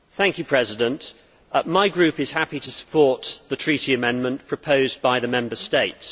Mr President, my group is happy to support the Treaty amendment proposed by the Member States.